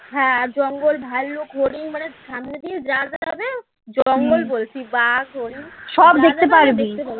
হ্যাঁ জঙ্গল ভাল্লুক হরিণ মানে সামনে দিয়ে যা যা যাবে জঙ্গল বলছি বাঘ হরিণ